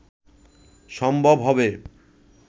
সম্ভব হবে